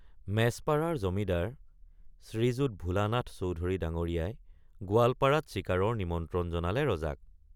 মেছপাৰাৰ জমিদাৰ শ্ৰীযুত ভোলানাথ চৌধুৰী ডাঙৰীয়াই গোৱালপাৰাত চিকাৰৰ নিমন্ত্ৰণ জনালে ৰজাক।